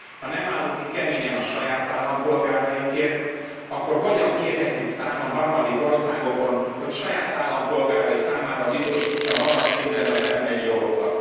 Ha nem állunk ki keményen a saját állampolgárainkért, akkor hogyan kérhetjük számon harmadik országokon, hogy saját állampolgárai számára biztosítsa magas szinten az emberi jogokat?